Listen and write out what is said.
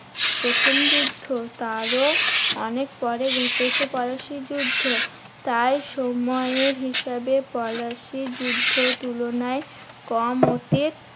প্রথম যুদ্ধ। তারও অনেক পরে ঘটেছে পলাশীর যুদ্ধ। তাই সময়ের হিসাবে পলাশীর যুদ্ধ তুলনায় কম অতীত